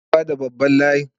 Kar ka ba ta babban Halaye